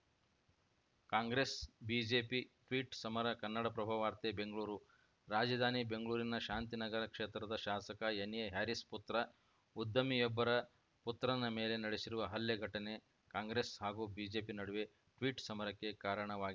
Congress BJP tweet ಸಮರ ಕನ್ನಡಪ್ರಭ ವಾರ್ತೆ ಬೆಂಗಳೂರು ರಾಜಧಾನಿ ಬೆಂಗಳೂರಿನ ಶಾಂತಿನಗರ ಕ್ಷೇತ್ರದ ಶಾಸಕ ಎನ್‌ಎಹ್ಯಾರಿಸ್‌ ಪುತ್ರ ಉದ್ಯಮಿಯೊಬ್ಬರ ಪುತ್ರನ ಮೇಲೆ ನಡೆಸಿರುವ ಹಲ್ಲೆ ಘಟನೆ ಕಾಂಗ್ರೆಸ್‌ ಹಾಗೂ ಬಿಜೆಪಿ ನಡುವೆ ಟ್ವೀಟ್‌ ಸಮರಕ್ಕೆ ಕಾರಣವಾಗ್